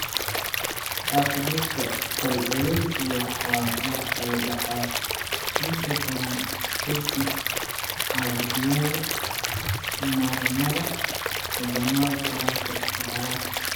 Arthritis-ka fal-celintu wuxuu dhacaa inta badan ka dib caabuqyada marinnada xubnaha taranka iyo caloosha.